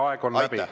Aitäh!